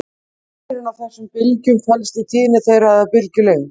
Munurinn á þessum bylgjum felst í tíðni þeirra eða bylgjulengd.